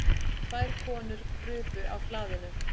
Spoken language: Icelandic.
Tvær konur krupu á hlaðinu.